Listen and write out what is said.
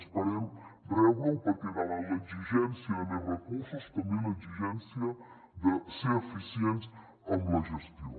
esperem rebre ho perquè davant l’exigència de més recursos també l’exigència de ser eficients en la gestió